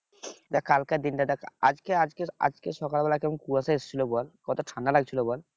কালকের দিনটা দেখ আজকে আজকে আজকে সকালবেলা কেমন কুয়াশা এসেছিল বল কত ঠান্ডা লাগছিল বল